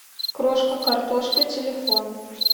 крошка картошка телефон